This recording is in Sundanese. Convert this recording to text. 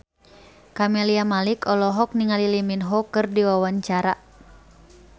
Camelia Malik olohok ningali Lee Min Ho keur diwawancara